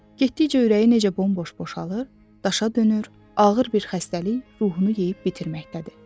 Getdikcə ürəyi necə bomboş boşalır, daşa dönür, ağır bir xəstəlik ruhunu yeyib bitirməkdədir.